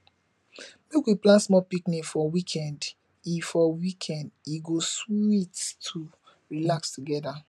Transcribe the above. make we plan small picnic for weekend e for weekend e go sweet to relax together